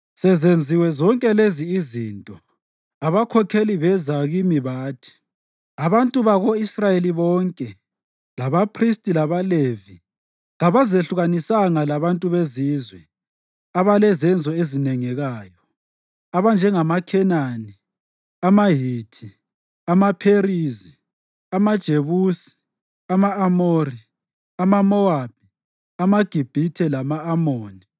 Sezenziwe zonke lezi izinto, abakhokheli beza kimi bathi, “Abantu bako-Israyeli bonke, labaphristi, labaLevi kabazehlukanisanga labantu bezizwe abalezenzo ezinengekayo, abanjengamaKhenani, amaHithi, amaPherizi, amaJebusi, ama-Amori, amaMowabi, amaGibhithe lama-Amoni.